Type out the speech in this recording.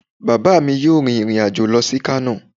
Baba mí yọọ rin irín ajo lọ si Kano.